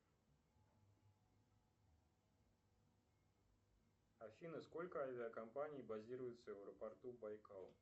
афина сколько авиакомпаний базируется в аэропорту байкал